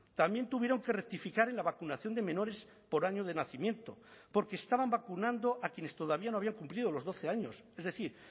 también tuvieron que rectificar en la vacunación de menores por año de nacimiento porque estaban vacunando a quienes todavía no habían cumplido los doce años es decir